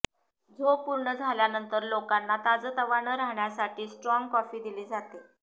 झोप पूर्ण झाल्यानंतर लोकांना ताजंतवानं राहण्यासाठी स्टाँग कॉफी दिली जाते